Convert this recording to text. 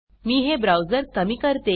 मी हे ब्राउझर कमी करते